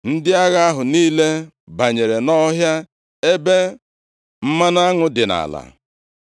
Ndị agha ahụ niile banyere nʼọhịa ebe mmanụ aṅụ dị nʼala.